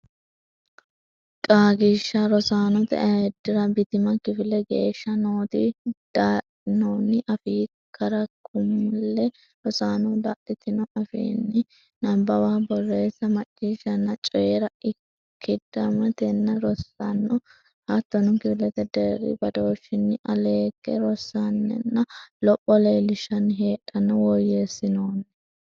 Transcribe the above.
Qaagiishsha Rosaanote Ayiddira Bitima kifele geeshsha nooti dadhinoonni afii karikulame rosaano dadhitino afiinni nabbawa borreessa macciishshanna coyi ra ikkadimmatenni rossanno hattono kifilete deerri badooshshinni aleegge rossanninna lopho leellishshanni hadhanno woyyeessinoonni.